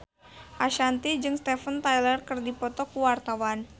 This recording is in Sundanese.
Ashanti jeung Steven Tyler keur dipoto ku wartawan